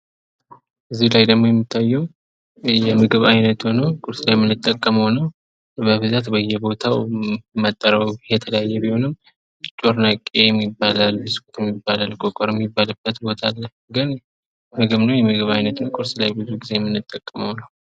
እዚህ ላይ ደግሞ የምንመለከተው የምግብ አይነት ሁኖ ቁርስ ላይ የምንጠቀመው ነው። በብዛት በየቦታው መጠሪያው የተለያየ ቢሆንም ጮርናቄም ይባላል። ቆቀርም የሚባልበት ቦታ አለ። ብዙ ጊዜ ቁርስ ላይ የምንጠቀመው የምግብ አይነት ነው።